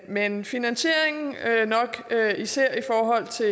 men finansieringen nok især i forhold til